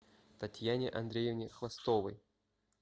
татьяне андреевне хвостовой